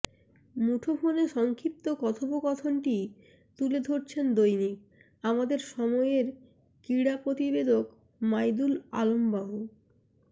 মুঠোফোনে সংক্ষিপ্ত কথোপকথনটি তুলে ধরেছেন দৈনিক আমাদের সময়ের ক্রীড়া প্রতিবেদক মাইদুল আলম বাবু